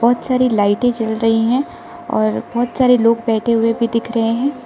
बहुत सारी लाइटें जल रही हैं और बहुत सारे लोग बैठे हुए भी दिख रहे हैं।